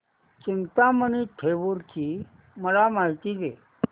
चिंतामणी थेऊर ची मला माहिती दे